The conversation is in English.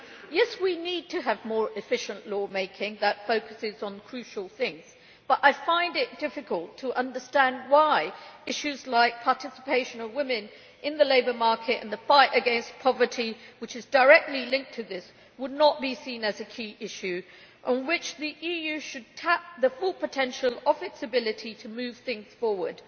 Yes, we need to have more efficient law making that focuses on crucial things, but I find it difficult to understand why issues like the participation of women in the labour market and the fight against poverty, which is directly linked to this, would not be seen as key ones, on which the EU should tap the full potential of its ability to move things forward.